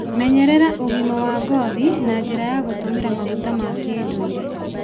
Menyerera ũgima wa ngothi na njĩra ya gũtũmĩra maguta ma kĩndũire.